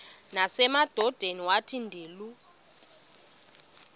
nasemadodeni wathi ndilu